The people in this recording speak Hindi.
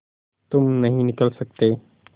तुम नहीं निकल सकते